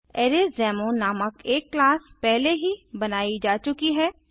अरेसडेमो नामक एक क्लासपहले ही बनायी जा चुकी है